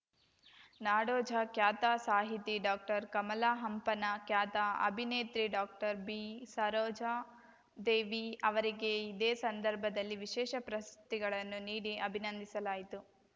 ನಾಡೋಜ ಖ್ಯಾತ ಸಾಹಿತಿ ಡಾಕ್ಟರ್ ಕಮಲಾಹಂಪನ ಖ್ಯಾತ ಅಭಿನೇತ್ರಿ ಡಾಕ್ಟರ್ ಬಿ ಸರೋಜಾದೇವಿ ಅವರಿಗೆ ಇದೇ ಸಂದರ್ಭದಲ್ಲಿ ವಿಶೇಷ ಪ್ರಶಸ್ತಿಗಳನ್ನು ನೀಡಿ ಅಭಿನಂದಿಸಲಾಯಿತು